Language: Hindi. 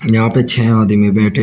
यहां पे छे आदमी बैठे हैं।